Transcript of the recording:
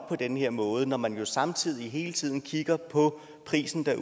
på den her måde når man derude jo samtidig hele tiden kigger på prisen der